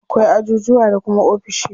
Akwai ajujuwa da kuma ofishi.